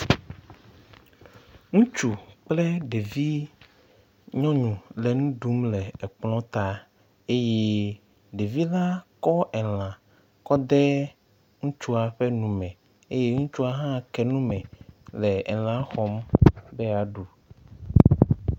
Ŋutsu kple ɖevi nyɔnu le nu ɖum le kplɔ ta eye ɖevi la kɔ elã kɔ de ŋutsua ƒe nu me eye ŋutsua hã ke nu me le elã xɔm be yeaɖu.